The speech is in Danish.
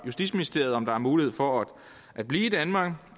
justitsministeriet om der er mulighed for at blive i danmark